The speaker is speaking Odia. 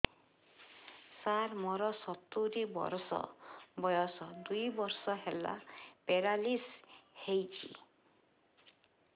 ସାର ମୋର ସତୂରୀ ବର୍ଷ ବୟସ ଦୁଇ ବର୍ଷ ହେଲା ପେରାଲିଶିଶ ହେଇଚି